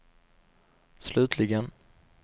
slutligen